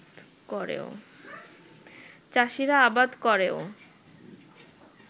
চাষীরা আবাদ করেও